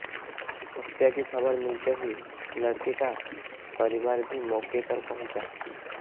हत्या की खबर मिलते ही लड़के का परिवार भी मौके पर पहुंचा